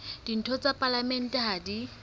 ditho tsa palamente ha di